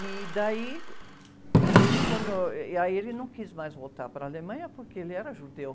E daí ele quando, e aí ele não quis mais voltar para a Alemanha porque ele era judeu.